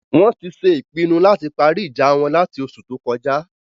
Wọn ti ṣe ìpinu lati parí ìjà won lati oṣù tó kọjá